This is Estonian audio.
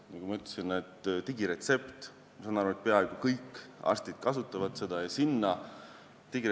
Nagu ma ütlesin, ma saan aru, et peaaegu kõik arstid kasutavad digiretsepti.